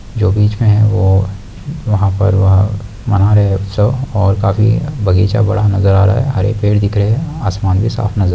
जो बीच में है वो वहा पर वह मना रहे है उत्सव और काफी बगीचा बड़ा नजर आ रहा है हरे पड़े दिख रहे है आसमान भी साफ नजर--